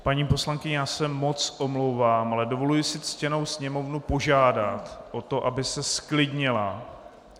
Paní poslankyně, já se moc omlouvám, ale dovoluji si ctěnou sněmovnu požádat o to, aby se zklidnila.